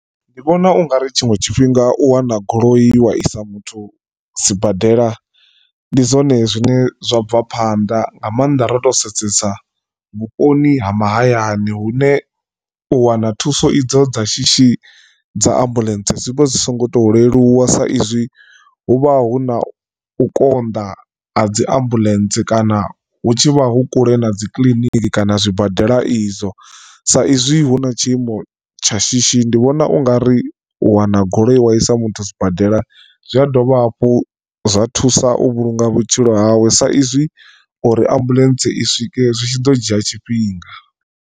Ndi vhona ungari tshiṅwe tshifhinga u wana goloi wa isa muthu sibadela ndi zwone zwine zwa bva phanḓa nga maanḓa ro to sedzesa vhuponi ha mahayani hune u wana thuso idzo dza shishi dza ambuḽentse zwi vha zwi so ngo to leluwa. S izwi hu vha hu na u konḓa ha dzi ambuḽentse kana hu tshi vha hu kule na dzi kiḽiniki kana zwibadela izwo sa izwi hu na tshiimo tsha shishi ndi vhona u nga ri wana goloi wa i sa muthu zwibadela zwi a dovha hafhu zwa thusa u vhulunga vhutshilo hawe sa izwi uri ambuḽentse i swike zwi tshi ḓo dzhia tshifhinga.